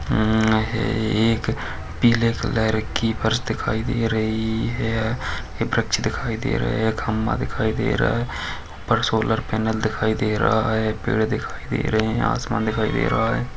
हम्म हे एक पीले कलर की फर्श दिखाई दे रही है एक वृक्ष दिखाई दे रहे है खंभा दिखाई दे रहा है ऊपर सोलर पैनल दिखाई दे रहा है पेड़ दिखाई दे रहे है आसमान दिखाई दे रहा हैं ।